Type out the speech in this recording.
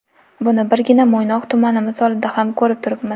Buni birgina Mo‘ynoq tumani misolida ham ko‘rib turibmiz.